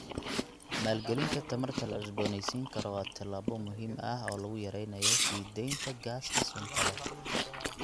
Maalgelinta tamarta la cusbooneysiin karo waa tallaabo muhiim ah oo lagu yareynayo sii deynta gaaska sunta leh.